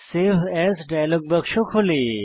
save as dialog বাক্স খোলে